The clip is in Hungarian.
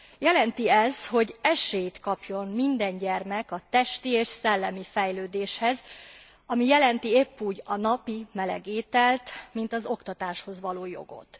Jelenti ez, hogy esélyt kapjon minden gyermek a testi és szellemi fejlődéshez, ami jelenti épp úgy a napi meleg ételt, mint az oktatáshoz való jogot.